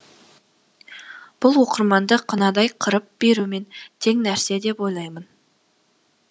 бұл оқырманды қынадай қырып берумен тең нәрсе деп ойлаймын